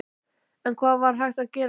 En hvað er þá hægt að gera?